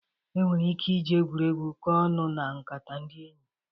E nwere ike ị ji egwuregwu kọọ ọnụ na nkata ndị enyi.